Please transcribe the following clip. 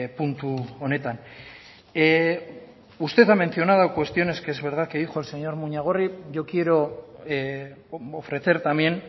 puntu honetan usted ha mencionado cuestiones que es verdad que dijo el señor muñagorri yo quiero ofrecer también